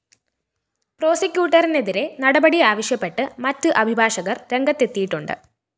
പ്രോസിക്യൂട്ടറിനെതിരെ നടപടി ആവശ്യപ്പെട്ട് മറ്റ് അഭിഭാഷകര്‍ രംഗത്തെത്തിയിട്ടുണ്ട്